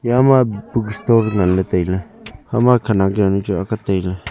ekhama book store ngan ley tai ley.